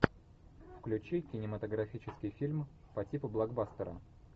включи кинематографический фильм по типу блокбастера